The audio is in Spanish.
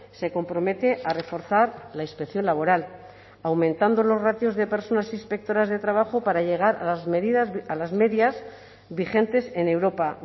se compromete a reforzar la inspección laboral aumentando los ratios de personas inspectoras de trabajo para llegar a las medidas a las medias vigentes en europa